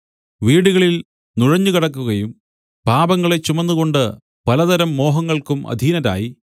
വീടുകളിൽ നുഴഞ്ഞുകടക്കുകയും പാപങ്ങളെ ചുമന്നുകൊണ്ട് പലതരം മോഹങ്ങൾക്കും അധീനരായി